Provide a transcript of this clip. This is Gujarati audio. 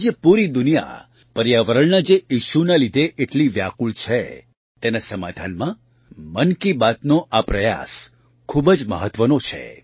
આજે પૂરી દુનિયા પર્યાવરણના જે issueના લીધે એટલી વ્યાકુળ છે તેના સમાધાનમાં મન કી બાતનો આ પ્રયાસ ખૂબ જ મહત્ત્વનો છે